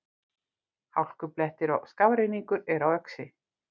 Hálkublettir og skafrenningur er á Öxi